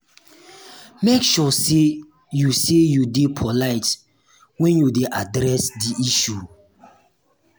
make sure say you say you de polite when you de address di issue